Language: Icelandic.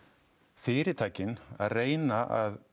fyritækin að reyna að